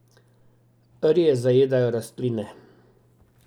Rje zajedajo rastline.